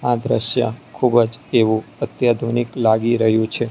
આ દ્રશ્ય ખુબજ એવુ અત્યાધુનિક લાગી રહ્યુ છે.